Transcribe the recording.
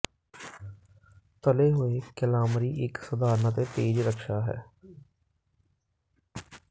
ਤਲੇ ਹੋਏ ਕੈਲਾਮਰੀ ਇੱਕ ਸਧਾਰਨ ਅਤੇ ਤੇਜ਼ ਰਕਸ਼ਾ ਹੈ